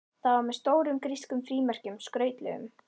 Það var með stórum grískum frímerkjum, skrautlegum.